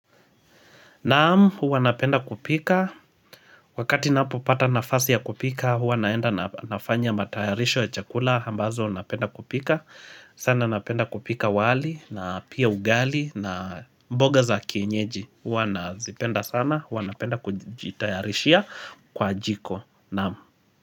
Naam huwa napenda kupika wakati ninapo pata nafasi ya kupika huwa naenda nafanya matayarisho ya chakula ambazo napenda kupika sana napenda kupika wali na pia ugali na mboga za kienyeji huwa nazipenda sana huwa napenda kujitayarishia kwa jiko naam.